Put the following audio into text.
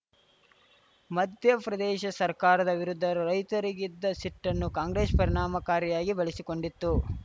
ಮಧ್ಯಪ್ರದೇಶ ಸರ್ಕಾರದ ವಿರುದ್ಧ ರೈತರಿಗಿದ್ದ ಸಿಟ್ಟನ್ನು ಕಾಂಗ್ರೆಸ್‌ ಪರಿಣಾಮಕಾರಿಯಾಗಿ ಬಳಸಿಕೊಂಡಿತ್ತು